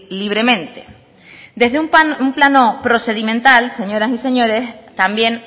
libremente desde un plano procedimental señoras y señores también